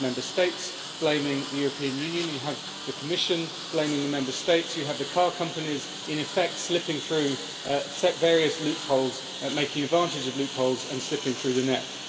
You have Member States blaming the European Union, you have the Commission blaming the Member States, and you have the car companies in effect slipping through various loopholes, taking advantage of loopholes and slipping through the net.